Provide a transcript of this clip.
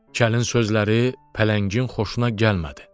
Kəlin sözləri pələngin xoşuna gəlmədi.